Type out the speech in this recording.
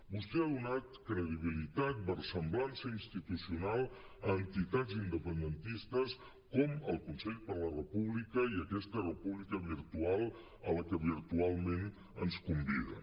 vostè ha donat credibilitat versemblança institucional a entitats independentistes com el consell per la república i aquesta república virtual a la que virtualment ens conviden